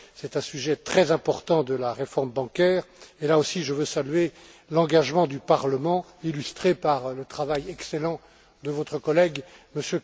C'est un sujet très important de la réforme bancaire et, là aussi, je veux saluer l'engagement du Parlement, illustré par l'excellent travail de votre collègue, M.